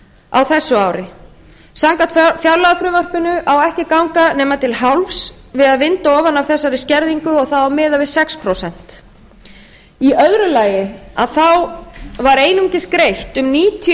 á þessu ári samkvæmt fjárlagafrumvarpinu á ekki ganga nema til hálfs við að vinda ofan á þessari skerðingu og þá á að miða við sex prósent í öðru lagi þá var einungis greitt um níutíu